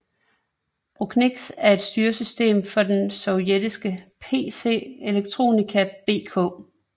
BKUNIX er et styresystem for den sovietiske PC Elektronika BK